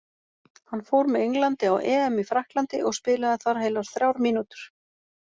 Hann fór með Englandi á EM í Frakklandi og spilaði þar heilar þrjár mínútur.